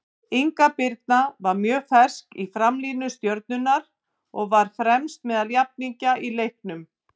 Inga Birna var mjög fersk í framlínu Stjörnunnar og var fremst meðal jafningja í leiknum.